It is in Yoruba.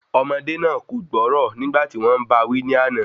Ọmọdé náà kò gbọ́rọ̀ nígbà tí wọ́n bá a wí ní àná